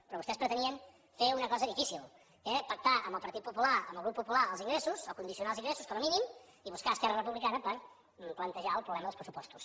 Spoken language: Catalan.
però vostès pretenien fer una cosa difícil que era pactar amb el partit popular amb el grup popular els ingressos o condicionar els ingressos com a mínim i buscar esquerra republicana per plantejar el problema dels pressupostos